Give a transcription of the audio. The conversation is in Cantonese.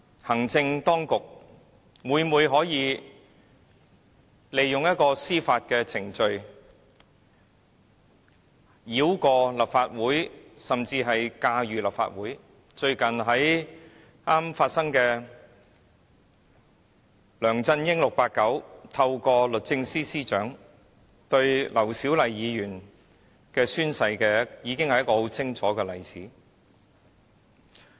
行政當局今天每每利用司法程序繞過立法會，甚至駕馭立法會，最近 "689" 梁振英透過律政司司長，表示要就劉小麗議員宣誓一事展開訴訟，已是一個非常清楚的例子。